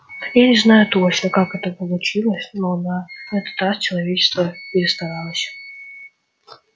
я не знаю точно как это получилось но на этот раз человечество перестаралось